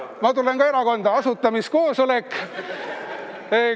Ma tulen ka erakonda, asutamiskoosolek on.